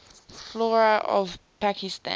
flora of pakistan